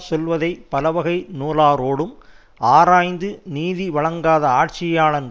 சொல்வதைப் பலவகை நூலாரோடும் ஆராய்ந்து நீதி வழங்காத ஆட்சியாளன்